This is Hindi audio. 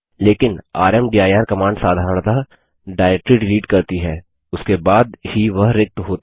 लेकिन रामदीर कमांड साधरणतः डाइरेक्टरी डिलीट करती है उसके बाद ही वह रिक्त होती है